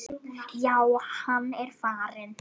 Já, hann er farinn